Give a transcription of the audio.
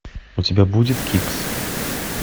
у тебя будет кикс